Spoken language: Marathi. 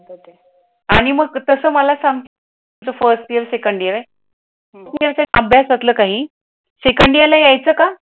आणि मग तसं मला सांग फर्स्ट इयर सेकंड ईयर आहे अभ्यासातलं काही, सेकंड ईयरला यायेचा का?